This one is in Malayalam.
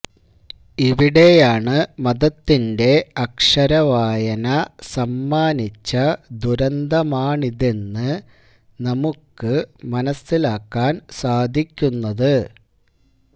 ഇവിടെയാണ് മതത്തിന്റെ അക്ഷരവായന സമ്മാനിച്ച ദുരന്തമാണിതെന്ന് നമുക്ക് മനസ്സിലാക്കാന് സാധിക്കുന്നത്